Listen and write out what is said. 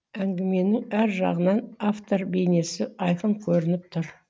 әңгіменің әр жағынан автор бейнесі айқын көрініп тұр